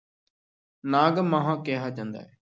ਨਾਗ-ਮਾਹਾ ਕਿਹਾ ਜਾਂਦਾ ਹੈ।